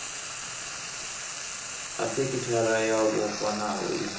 a sekithara yo vhofhanaho i